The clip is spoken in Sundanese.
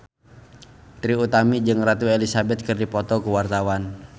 Trie Utami jeung Ratu Elizabeth keur dipoto ku wartawan